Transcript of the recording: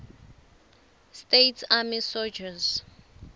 states army soldiers